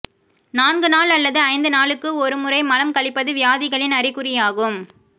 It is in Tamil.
நான்கு நாள் அல்லது ஐந்து நாளுக்கு ஒரு முறை மலம் கழிப்பது வியாதிகளின் அறிகுறியாகும்